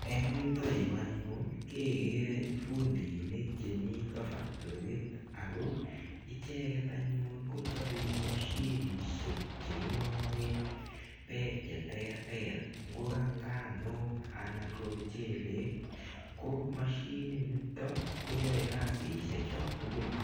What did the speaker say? Eng' yutayu anyun kekere fundiinik che mita factory ako icheget anyun ko chopei mashinishek che king'ae pek che terter. Ngo ka nganuk anan ko mchelek. Ko mashininitok ko yae kasishe cha tugul.